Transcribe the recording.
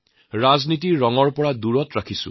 ৰাজনীতিৰ ৰঙৰ পৰা বহুক দূৰ ৰাখিছে